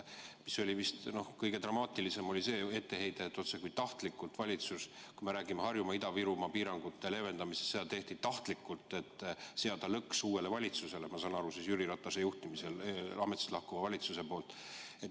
Kõige dramaatilisem oli vist see etteheide, otsekui oleks valitsus, kui me räägime Harjumaa ja Ida-Virumaa piirangute leevendamisest, teinud seda tahtlikult, et seada lõks uuele valitsusele.